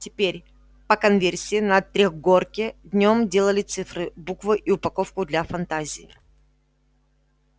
теперь по конверсии на трехгорке днём делали цифры буквы и упаковку для фантазий